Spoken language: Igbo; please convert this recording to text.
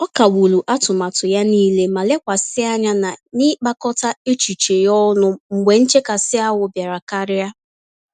Ọ kagburu atụmatụ ya nile, ma lekwasị anya na n'ịkpakọta echiche ya ọnụ mgbe nchekasị-ahụ bịara karịa.